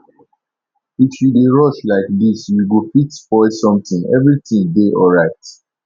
if you dey rush like dis you go fit spoil something everything dey alright